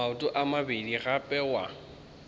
maoto a mabedi gape wa